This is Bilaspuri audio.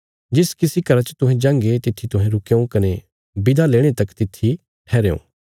जिस किसी घरा च तुहें जांगे तित्थी तुहें रुकयों कने बिदा लेणे तक तित्थी ठैहरेयों